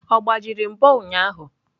Ọ gbajiri mbo ụnyahụ?